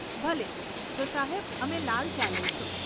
ભલે, તો સાહેબ, અમે લાલ ચા લઈશું.